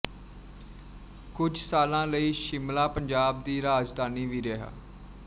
ਕੁਝ ਸਾਲਾਂ ਲਈ ਸ਼ਿਮਲਾ ਪੰਜਾਬ ਦੀ ਰਾਜਧਾਨੀ ਵੀ ਰਿਹਾ